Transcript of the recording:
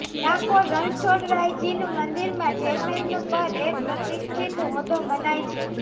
ડાકોર રણછોડરાયજી મંદિરમાં ચેરમેનનું પદ એક પ્રતિષ્ઠિત હોદ્દો મનાય છે